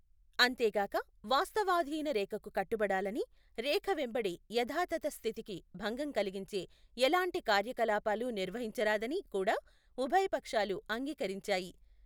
అంతేగాక వాస్తవాధీన రేఖకు కట్టుబడాలని, రేఖ వెంబడి యథాతథ స్థితికి భంగం కలిగించే ఎలాంటి కార్యకలాపాలు నిర్వహించరాదని కూడా ఉభయపక్షాలూ అంగీకరించాయి.